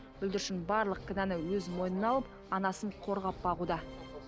бүлдіршін барлық кінәні өз мойнына алып анасын қорғап бағуда